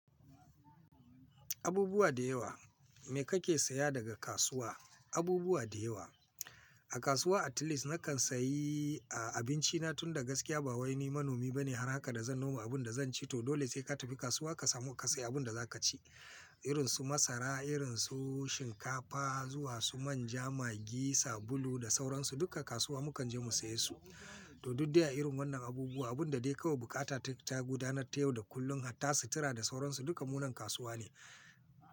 Abubuwa da yawa. Me kake saya daga kasuwa? Abubuwa da yawa. A kasuwa at least nakan sayi, a, abinci na tun da gaskiya ba wai ni manomi bane har haka da zan noma abun da zan ci to dole sai ka tafi kasuwa ka samu ka sayi abun da za ka ci. Irin su masara, irin su shinkafa, zuwa su manja, magi, sabulu da sauransu duka kasuwa mu kan je mu saye su. To duk dai a irin wannan abubuwa abun da dai kawai bukata ta, ta gudanar ta yau da kullum hatta sutura da sauransu duka munan kasuwa ne.